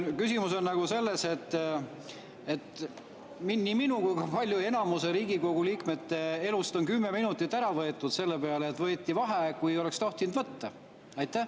Küsimus on selles, et nii minu kui ka enamuse Riigikogu liikmete elust on kümme minutit ära võetud sellega, et võeti vaheaeg siis, kui ei oleks tohtinud võtta.